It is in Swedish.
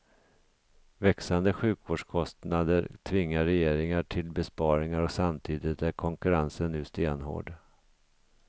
Växande sjukvårdskostnader tvingar regeringar till besparingar och samtidigt är konkurrensen nu stenhård.